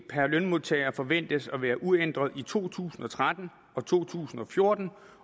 per lønmodtager forventes at være uændret i to tusind og tretten og to tusind og fjorten